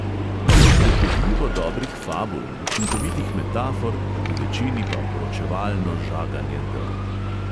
Nekaj predirljivo dobrih fabul, učinkovitih metafor, v večini pa poročevalno žaganje drv.